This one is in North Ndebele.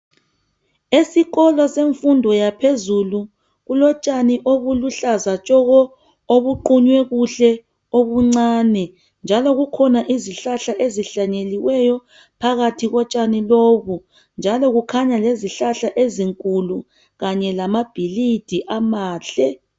Esikolo semfundo yaphezulu kulotshani obuluhlaza tshoko obuqunywe kuhle obuncane njalo kukhona izihlahla ezihlanyeliweyo phakathi kotshani lobu njalo kukhanya lezihlahla ezinkulu kanye lamabhilidi amahle.